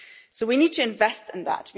So we need to invest in that.